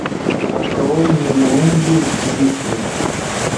открой нибелунги зигфрид